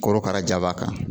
Korokara ja b'a kan